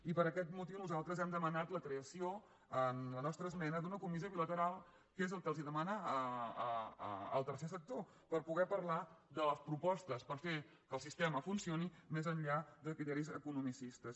i per aquest motiu nosaltres hem demanat la creació amb la nostra esmena d’una comissió bilateral que és el que els demana el tercer sector per poder parlar de les propostes per fer que el sistema funcioni més enllà de criteris economicistes